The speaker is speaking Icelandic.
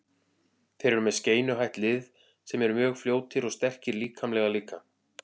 Þeir eru með skeinuhætt lið sem eru mjög fljótir og sterkir líkamlega líka.